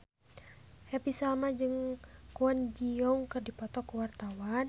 Happy Salma jeung Kwon Ji Yong keur dipoto ku wartawan